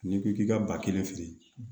N'i ko k'i ka ba kelen feere